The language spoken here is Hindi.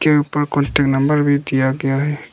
उसके ऊपर नंबर भी दिया गया है।